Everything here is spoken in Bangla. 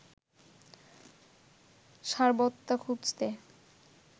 সারবত্তা খুঁজতে